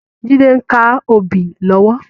Jide n ká óbì lòwò